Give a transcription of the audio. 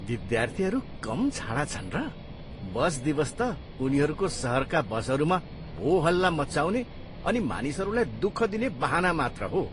विद्यार्थीहरू कम छाडा छन् र? बस दिवस त उनीहरूको सहरका बसहरूमा होहल्ला मचाउने अनि मानिसहरूलाई दुःख दिने बहाना मात्र हो।